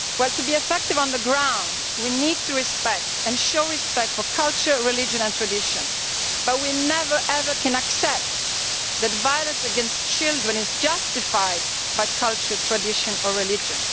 To be effective on the ground we need to show respect for culture, religion and tradition, but we can never ever accept that violence against children is justified by culture, tradition or religion.